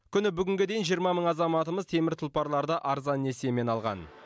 күні бүгінге дейін жиырма мың азаматымыз темір тұлпарларды арзан несиемен алған